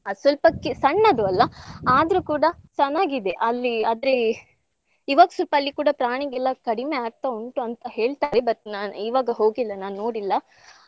ಅದ್ ಸ್ವಲ್ಪ ಕೆ~ ಸಣ್ಣದು ಅಲ್ವಾ ಆದ್ರೂ ಕೂಡಾ ಚನ್ನಾಗಿದೆ ಅಲ್ಲಿ ಆದ್ರೆ ಇವಾಗ್ ಸ್ವಲ್ಪ ಅಲ್ಲಿ ಕೂಡಾ ಪ್ರಾಣಿ ಎಲ್ಲ ಕಡಿಮೆ ಆಗ್ತಾ ಉಂಟು ಅಂತಾ ಹೇಳ್ತಾರೆ but ನಾನ್ ಇವಾಗ ಹೋಗಿಲ್ಲಾ ನಾನ್ ನೋಡಿಲ್ಲಾ.